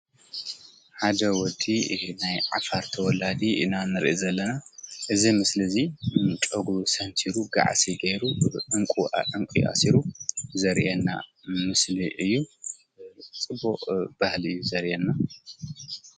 ሓደ ወዲይ ኢ ናይ ዓፋር ተወላዲ እናንርእ ዘለና እዝ ምስሊ እዙይ ቀጉ ሰምቲሩ ብዓሲ ገይሩ እንቊ ዕንቊ ኣሲሩ ዘርየና ምስሊ እዩ ጽቡቕ ባህሊ እዩ ዘርየና::